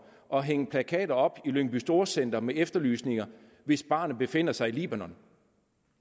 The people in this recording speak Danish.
og hænge plakater op i lyngby storcenter med efterlysninger hvis barnet befinder sig i libanon